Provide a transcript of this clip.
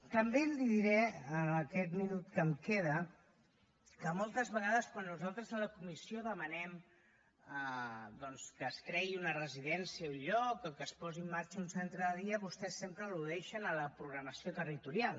també li diré en aquest minut que em queda que moltes vegades quan nosaltres a la comissió demanem doncs que es creï una residència a un lloc o que es posi en marxa un centre de dia vostès sempre al·ludeixen a la programació territorial